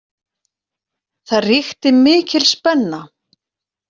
Það ríkti mikil spenna.